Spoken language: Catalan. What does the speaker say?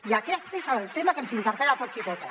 i aquest és el tema que ens interpel·la a tots i totes